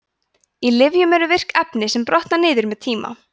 í lyfjum eru virk efni sem brotna niður með tíma